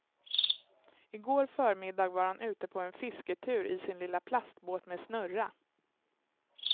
I går förmiddag var han ute på en fisketur i sin lilla plastbåt med snurra.